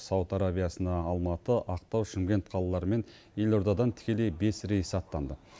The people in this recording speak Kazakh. сауд арабиясына алматы ақтау шымкент қалалары мен елордадан тікелей бес рейс аттанды